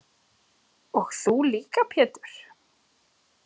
Og þú líka Pétur.